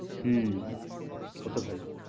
হম কত value